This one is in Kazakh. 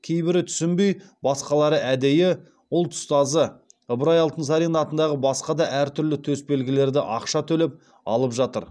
кейбірі түсінбей басқалары әдейі ұлт ұстазы ыбырай алтынсарин атындағы басқа да әртүрлі төсбелгілерді ақша төлеп алып жатыр